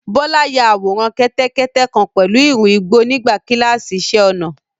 Bọ́lá ya àwòrán kẹ́tẹ́kẹ́tẹ́ kan pẹ̀lú ìrù igbó nígbà kíláàsì iṣẹ́-ọnà.